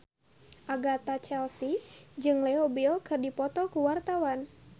Agatha Chelsea jeung Leo Bill keur dipoto ku wartawan